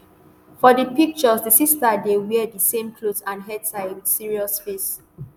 for di picture di sisters dey wear di same cloth and head tie wit serious face